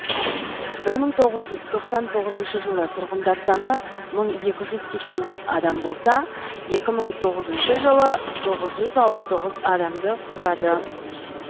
бір мың тоғыз жүз тоқсан тоғызыншы жылы тұрғындар саны мың екі жүз сексен бес адам болса екі мың тоғызыншы жылы тоғыз жүз алпыс тоғыз адамды құрады